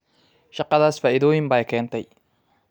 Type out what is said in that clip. Shaqadaas faa'iidooyin bay keentay